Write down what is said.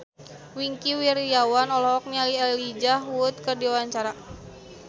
Wingky Wiryawan olohok ningali Elijah Wood keur diwawancara